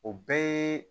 O bɛɛ ye